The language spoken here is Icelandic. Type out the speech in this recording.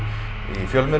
fjölmiðlum